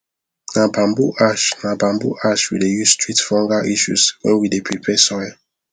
na bamboo ash na bamboo ash we dey use treat fungal issues when we dey prepare soil